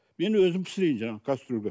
мен өзім пісірейін жаңағы кастрөлге